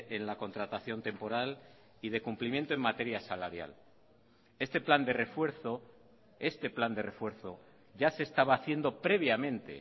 en la contratación temporal y de cumplimiento en materia salarial este plan de refuerzo este plan de refuerzo ya se estaba haciendo previamente